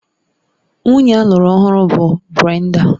Nwunye alụru ọhụrụ bụ Brenda